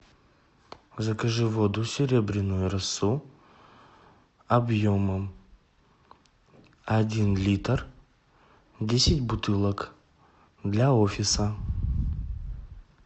закажи воду серебряную росу объемом один литр десять бутылок для офиса